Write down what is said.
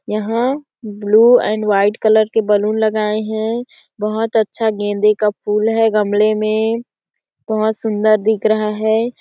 यहाँ blue and white colour के balloon लगाए हैं बहुत अच्छा गेंदे का फूल हैं गमले में बहुत सुंदर दिख रहा है।